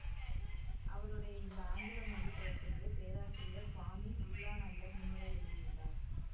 அவருடைய இந்த ஆங்கில மொழி பெயர்ப்புக்கு பேராசிரியர் சுவாமி விபுலானந்தர் முன்னுரை எழுதியுள்ளார்